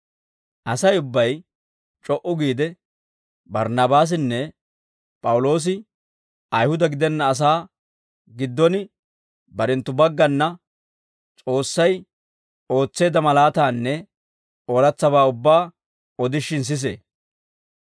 Asay ubbay c'o"u giide, Barnnaabaasinne P'awuloosi Ayihuda gidenna asaa giddon barenttu baggana S'oossay ootseedda malaataanne ooratsabaa ubbaa odishin sisee.